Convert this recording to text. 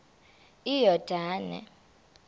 iyordane